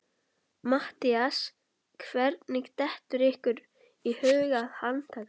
MATTHÍAS: Hvernig dettur ykkur í hug að handtaka